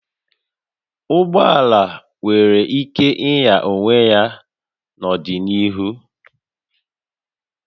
Ụgbọ ala nwere ike ịnya onwe ya n'ọdịnihu